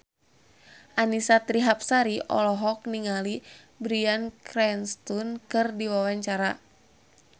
Annisa Trihapsari olohok ningali Bryan Cranston keur diwawancara